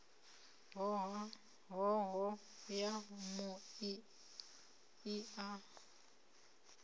hoho ya mui i a